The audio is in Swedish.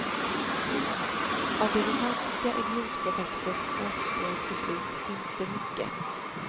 Av det romantiska idiotprojektet återstår till slut inte mycket.